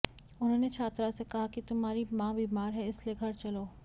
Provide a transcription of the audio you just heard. उन्होंने छात्रा से कहा कि तुम्हारी मां बीमार है इसलिए घर चलो